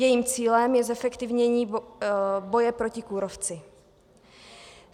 Jejím cílem je zefektivnění boje proti kůrovci.